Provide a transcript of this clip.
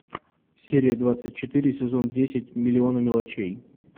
серия двадцать четыре сезон десять миллионы мелочей